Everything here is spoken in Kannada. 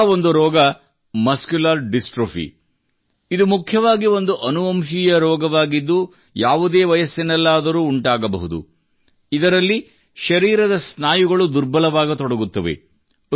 ಇಂತಹ ಒಂದು ರೋಗವೇ ಮಸ್ಕ್ಯುಲರ್ ಡಿಸ್ಟ್ರೋಫಿ ಇದು ಮುಖ್ಯವಾಗಿ ಒಂದು ಅನುವಂಶೀಯ ರೋಗವಾಗಿದ್ದು ಯಾವುದೇ ವಯಸ್ಸಿನಲ್ಲಾದರೂ ಉಂಟಾಗಬಹುದು ಇದರಲ್ಲಿ ಶರೀರದ ಸ್ನಾಯುಗಳು ದುರ್ಬಲವಾಗತೊಡಗುತ್ತವೆ